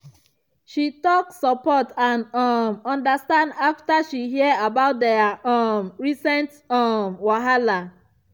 she talk support and um understand after she hear about their um recent um wahala.